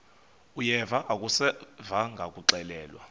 uyeva akuseva ngakuxelelwa